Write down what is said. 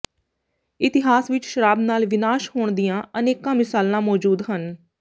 ਇਤਿਹਾਸ ਵਿੱਚ ਸ਼ਰਾਬ ਨਾਲ ਵਿਨਾਸ਼ ਹੋਣ ਦੀਆਂ ਅਨੇਕਾਂ ਮਿਸਾਲਾਂ ਮੌਜੂਦ ਹਨ